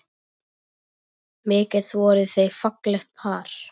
Mikið voru þau fallegt par.